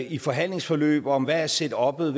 i forhandlingsforløb om hvad setuppet